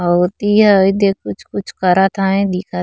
अउ ओती ह एदे कुछ कुछ करत है दिखत --